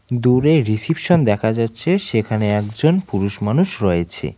দূরে রিসিপশন দেখা যাচ্ছে সেখানে একজন পুরুষ মানুষ রয়েছে।